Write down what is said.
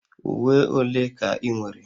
Uwe ole ka ị nwere?